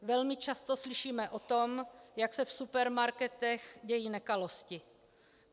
Velmi často slyšíme o tom, jak se v supermarketech dějí nekalosti.